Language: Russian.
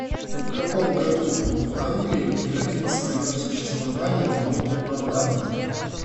в каком году в англии прекратил свое существование долгий парламент